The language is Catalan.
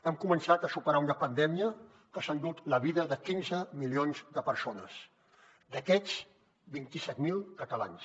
hem començat a superar una pandèmia que s’ha endut la vida de quinze milions de persones d’aquestes vint set mil catalans